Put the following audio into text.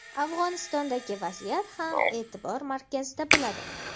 Afg‘onistondagi vaziyat ham e’tibor markazida bo‘ladi!.